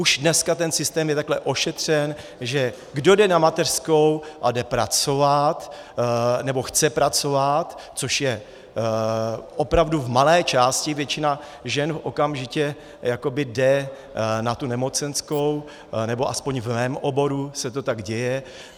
Už dneska ten systém je takhle ošetřen, že kdo jde na mateřskou a jde pracovat nebo chce pracovat, což je opravdu v malé části, většina žen okamžitě jakoby jde na tu nemocenskou, nebo aspoň v mém oboru se to tak děje.